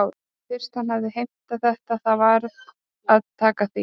En fyrst hann hafði heimtað þetta þá varð að taka því.